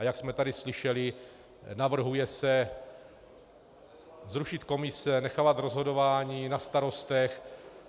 A jak jsme tady slyšeli, navrhuje se zrušit komise, nechávat rozhodování na starostech.